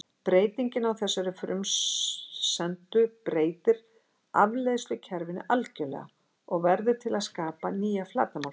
Breyting á þessari frumsendu breytir afleiðslukerfinu algjörlega og verður til að skapa nýja flatarmálsfræði.